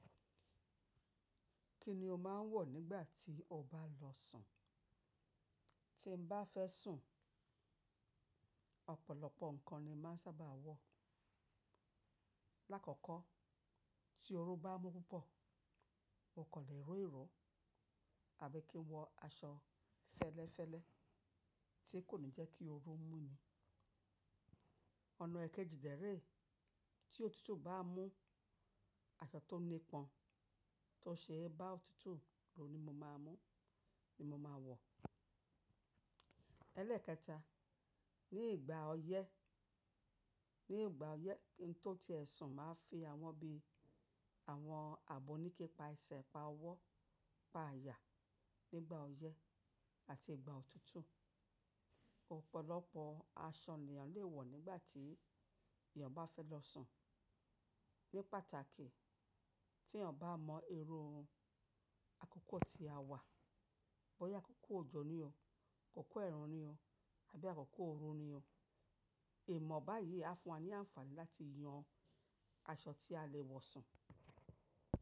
Kí ni o máa ń wọ̀ nígbà tí o bá lọ sùn? Tí n bá fẹ́ sùn, ọ̀pọ̀lọpọ̀ nǹkan ni màá sábà wọ̀. Láàkọ́kọ́, tí oru bá mú púpọ̀, mo kan lè ro iro àbí kí n wọ aṣọ fẹ́lẹ́fẹ́lẹ́ tí kò ní jẹ́ kí oru mú ni. Ọ̀nà èkejì dẹ́ rẹ̀ e, tí òtútù bá mú, aṣọ tó nípọn tó ṣe é bá òtútù lo ni mo máa mú ní mo máa wọ̀. Elẹ́ẹ̀kẹta, ní ìgbà ọyẹ́, ní ìgbà ọyẹ́, ki n tó ti ẹ́ sùn máa ń fi awọ́n bí àwọn àbòníkí pa ẹsẹ̀, pa ọwọ́, pa àyà nígbà ọyẹ́ àti ìgbà òtútù. Òpọ̀lọpọ̀ aṣọ ni èèyàn lè wọ̀ nígbà tí èèyàn bá fẹ́ lọ sùn. Ní pàtàkì, tí èèyàn bá mọ irú akọkọ tí a wà, bóyá akọkọ òjò ni o, akọkọ ẹ̀rùn ni o, àbí akọkọ òru ni o, ìmọ̀ báyìí á fún wa ní àǹfààní láti yan aṣọ tí a lè wọ̀ sùn.